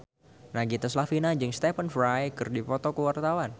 Nagita Slavina jeung Stephen Fry keur dipoto ku wartawan